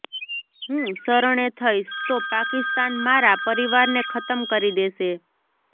હું શરણે થઈશ તો પાકિસ્તાન મારા પરિવારને ખતમ કરી દેશે